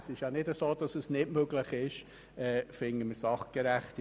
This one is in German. Es ist nicht so, dass es nicht möglich wäre.